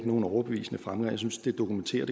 nogen overbevisende fremgang jeg synes det dokumenterer